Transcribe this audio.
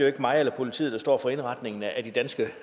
er mig eller politiet der står for indretningen af de danske